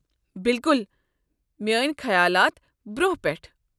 بلکل میٲنۍ خیالات، برونہہ پٮ۪ٹھٕ۔